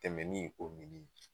Tɛmɛni o mini